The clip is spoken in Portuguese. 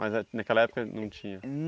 Mas ah naquela época não tinha.